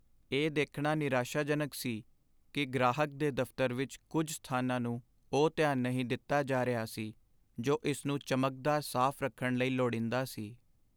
ਇਹ ਦੇਖਣਾ ਨਿਰਾਸ਼ਾਜਨਕ ਸੀ ਕਿ ਗ੍ਰਾਹਕ ਦੇ ਦਫਤਰ ਵਿੱਚ ਕੁੱਝ ਸਥਾਨਾਂ ਨੂੰ ਉਹ ਧਿਆਨ ਨਹੀਂ ਦਿੱਤਾ ਜਾ ਰਿਹਾ ਸੀ ਜੋ ਇਸ ਨੂੰ ਚਮਕਦਾਰ ਸਾਫ਼ ਰੱਖਣ ਲਈ ਲੋੜੀਂਦਾ ਸੀ।